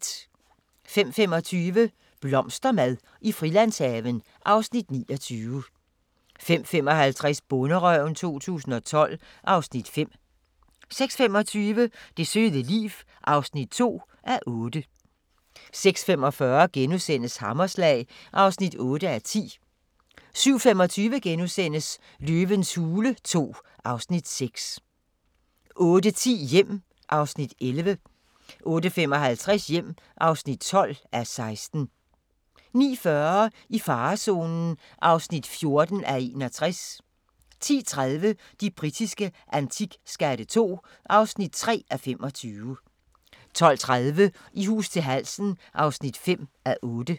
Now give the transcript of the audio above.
05:25: Blomstermad i Frilandshaven (Afs. 29) 05:55: Bonderøven 2012 (Afs. 5) 06:25: Det søde liv (2:8) 06:45: Hammerslag (8:10)* 07:25: Løvens hule II (Afs. 6)* 08:10: Hjem (11:16) 08:55: Hjem (12:16) 09:40: I farezonen (14:61) 10:30: De britiske antikskatte II (3:25) 12:30: I hus til halsen (5:8)